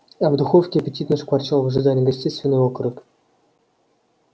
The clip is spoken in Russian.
а в духовке аппетитно шкварчал в ожидании гостей свиной окорок